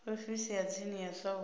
ofisi ya tsini ya south